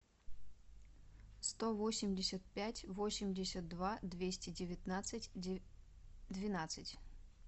сто восемьдесят пять восемьдесят два двести девятнадцать двенадцать